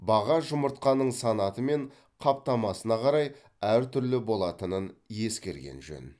баға жұмыртқаның санаты мен қаптамасына қарай әртүрлі болатынын ескерген жөн